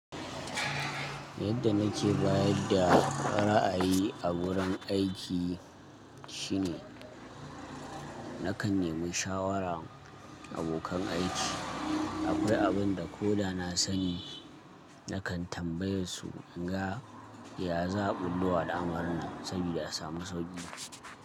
Yadda nake bayarda ra'ayi a wurin aiki shi ne nakan yi musu shawarar abokan aiki. Akwai abin da ko da na sani nakan tambayesu in ga ya za a ɓulllowa da al'amarin saboda a samu sauƙi.